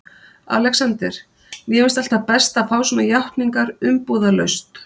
ALEXANDER: Mér finnst alltaf best að fá svona játningar umbúðalaust.